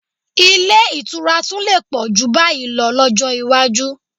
Ilé ìtura tún lè pọ̀ jù báyìí lọ lọ́jọ́ iwájú